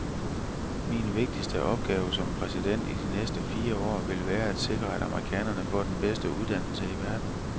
Min vigtigste opgave som præsident i de næste fire år, vil være at sikre, at amerikanerne får den bedste uddannelse i verden.